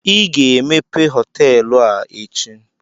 I ga-emepe họtelụ a echi!